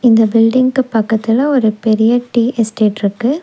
இந்த பில்டிங்க்கு பக்கத்தில ஒரு பெரிய டீ எஸ்டேட்ருக்கு .